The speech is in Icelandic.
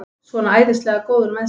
Svona æðislega góður með sig!